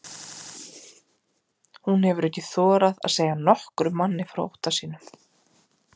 Hún hefur ekki þorað að segja nokkrum manni frá ótta sínum.